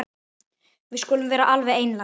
Við skulum vera alveg einlæg.